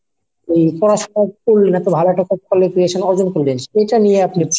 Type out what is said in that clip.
পড়াশুনা করলেন এতো ভালো একটা qualification অর্জন করলেন সেটা নিয়ে আপনি